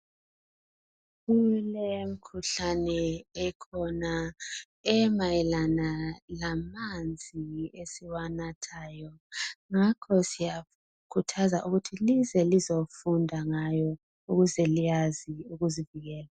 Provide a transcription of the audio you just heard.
Kulemikhuhlane ekhona emayelana lamanzi esiwanathayo, ngakho siyakhuthazwa ukuthi lize lizofunda ngayo ukuze liyazi ukuzivikela.